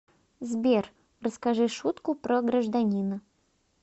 сбер расскажи шутку про гражданина